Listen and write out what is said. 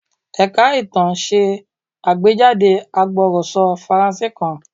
Ẹ̀ka ìtàn ṣe àgbéjáde agbọ̀rọ̀sọ Faransé kan.